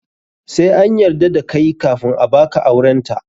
Sai an yarda da kai kafun a baka aurenta.